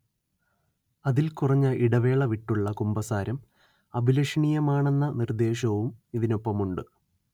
അതിൽ കുറഞ്ഞ ഇടവേളവിട്ടുള്ള കുമ്പസാരം അഭിലഷണീയമാണെന്ന നിർദ്ദേശവും ഇതിനൊപ്പമുണ്ട്